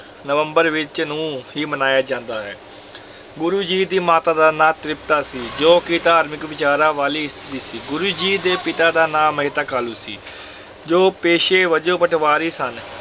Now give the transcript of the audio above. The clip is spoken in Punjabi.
ਨਵੰਬਰ ਵਿੱਚ ਨੂੰ ਹੀ ਮਨਾਇਆ ਜਾਂਦਾ ਹੈ ਗੁਰੂ ਜੀ ਦੀ ਮਾਤਾ ਦਾ ਨਾਂ ਤ੍ਰਿਪਤਾ ਸੀ, ਜੋ ਕਿ ਧਾਰਮਿਕ ਵਿਚਾਰਾਂ ਵਾਲੀ ਇਸਤਰੀ ਸੀ, ਗੁਰੂ ਜੀ ਦੇ ਪਿਤਾ ਦਾ ਨਾਂ ਮਹਿਤਾ ਕਾਲੂ ਸੀ, ਜੋ ਪੇਸ਼ੇ ਵਜੋਂ ਪਟਵਾਰੀ ਸਨ।